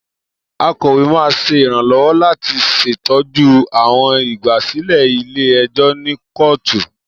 Akọwe máan ṣe iranlọwọ lati ṣetọju awọn igbasilẹ ile-ẹjọ ni kootu.